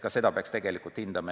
Ka seda peaks tegelikult hindama.